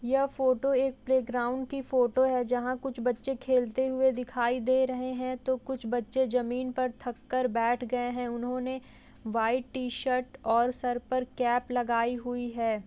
यह फोटो एक प्लैग्राउन्ड की फ़ोटो है जहाँ कुछ बच्चे खेलते हुए दिखाई दे रहे हैं तो कुछ बच्चे जमीन पर थक कर बेठ गए हैं। उन्होंने व्हाइट टी-शर्ट और सर पर कैप लगाई हुई है।